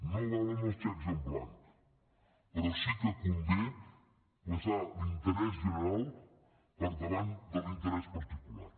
no valen els xecs en blanc però sí que convé posar l’interès general per davant de l’interès particular